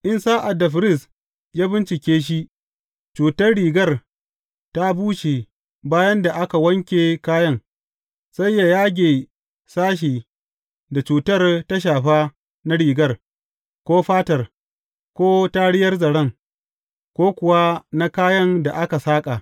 In sa’ad da firist ya bincike shi, cutar rigar ta bushe bayan da aka wanke kayan, sai yă yage sashen da cutar ta shafa na rigar, ko fatar, ko tariyar zaren, ko kuwa na kayan da aka saƙa.